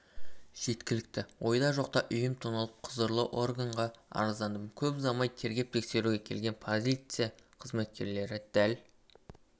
жеткілікті ойда жоқта үйім тоналып құзырлы органға арыздандым көп ұзамай тергеп-тексеруге келген полиция қызметкерлері дәл